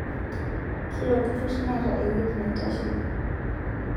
Kila olturrur neeta ewueji naitasheki